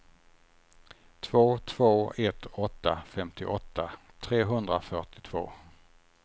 två två ett åtta femtioåtta trehundrafyrtiotvå